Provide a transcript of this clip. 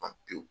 Ban pewu